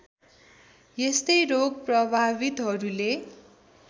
यस्तै रोग प्रभावितहरूले